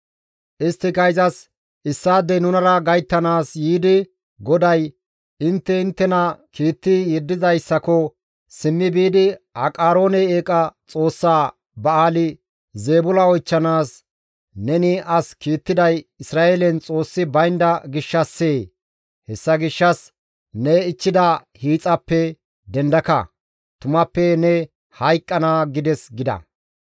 Isttika izas, «Issaadey nunara gayttanaas yiidi GODAY, ‹Intte inttena kiitti yeddidayssako simmi biidi Aqaroone eeqa xoossaa Ba7aali-Zeebula oychchanaas neni as kiittiday Isra7eelen Xoossi baynda gishshassee? Hessa gishshas ne ichchida hiixaappe dendaka; tumappe ne hayqqana› gides» gida.